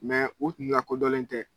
u kun lakodɔnnen tɛ.